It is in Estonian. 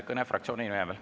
Kõne fraktsiooni nimel.